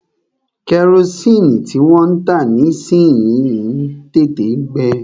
Kẹrosini tí wọ́n ń tà nísìyi ń tètè ń gbe.